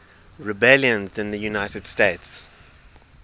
rebellions in the united states